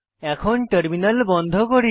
এখন টার্মিনাল বন্ধ করি